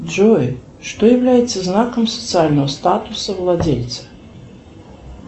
джой что является знаком социального статуса владельца